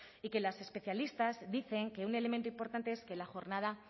y que las especialistas dicen que un elemento importante es que la jornada